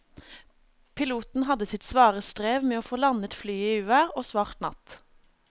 Piloten hadde sitt svare strev med å få landet flyet i uvær og svart natt.